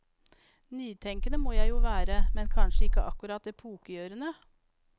Nytenkende må jeg jo være, men kanskje ikke akkurat epokegjørende.